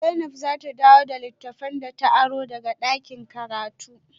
Zainab za ta dawo da littafan da ta aro daga dakin karatu